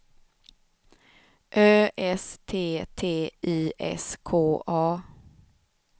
Ö S T T Y S K A